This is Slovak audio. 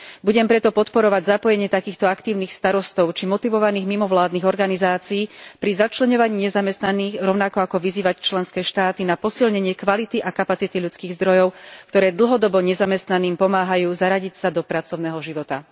Budem preto podporovať zapojenie takýchto aktívnych starostov či motivovaných mimovládnych organizácií pri začleňovaní nezamestnaných, rovnako ako vyzývať členské štáty na posilnenie kvality a kapacity ľudských zdrojov, ktoré dlhodobo nezamestnaným pomáhajú zaradiť sa do pracovného života.